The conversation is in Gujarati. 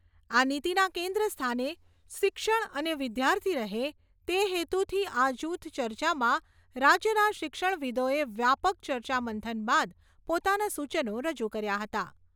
આ નીતિના કેન્દ્ર સ્થાને શિક્ષણ અને વિદ્યાર્થી રહે તે હેતુથી આ જૂથ ચર્ચામાં રાજ્યના શિક્ષણવિદોએ વ્યાપક ચર્ચામંથન બાદ પોતાનાં સૂચનો રજૂ કર્યાં હતાં.